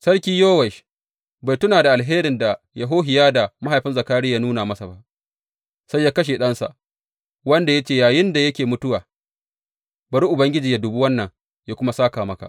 Sarki Yowash bai tuna da alherin da Yehohiyada mahaifin Zakariya ya nuna masa ba, sai ya kashe ɗansa, wanda ya ce yayinda yake mutuwa, Bari Ubangiji yă dubi wannan yă kuma sāka maka.